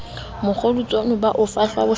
mokgodutswane ba o fahla bohlaswa